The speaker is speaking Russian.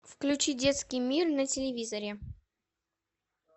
включи детский мир на телевизоре